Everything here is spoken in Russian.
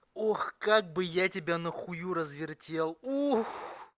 ох как бы я тебя на хую развертел